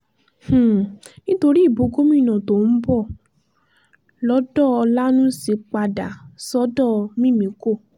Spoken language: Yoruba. um nítorí ìbò gómìnà tó ń bọ̀ lọ́dọ̀ ọ̀lànúsì padà um sọ́dọ̀ mímíkò